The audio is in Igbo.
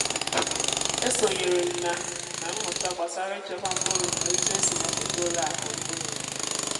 e sonyere m na m na mmụta gbasara ịchekwa mkpụrụ na otu esi mepụta ụlọ akụ mkpụrụ n’obodo.